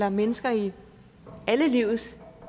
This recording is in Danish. og mennesker i alle livets